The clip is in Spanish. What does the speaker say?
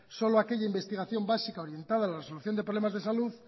solo aquella investigación básica orientada a la resolución de problemas de salud